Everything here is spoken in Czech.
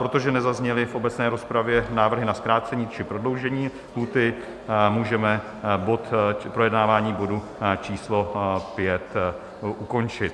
Protože nezazněly v obecné rozpravě návrhy na zkrácení či prodloužení lhůty, můžeme projednávání bodu číslo 5 ukončit.